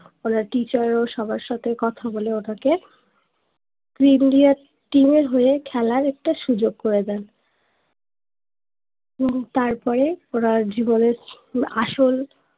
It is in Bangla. ওনার টিচার ও সবার সাথে কথা বলে ওনাকে প্রি India টীম এর হয়ে খেলার একটা সুযোগ করে দায় হম তারপরে ওনার জীবনের আসল